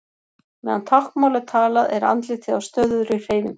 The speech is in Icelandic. Meðan táknmál er talað er andlitið á stöðugri hreyfingu.